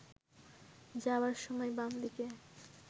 যাওয়ার সময় বাম দিকে